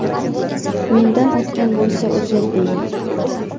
Mendan o‘tgan bo‘lsa uzr, deyman.